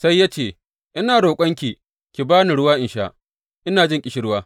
Sai ya ce, Ina roƙonki, ki ba ni ruwa in sha, ina jin ƙishirwa.